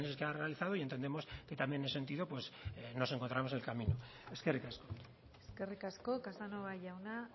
que ha realizado y entendemos también en ese sentido pues nos encontramos en el camino eskerrik asko eskerrik asko casanova jauna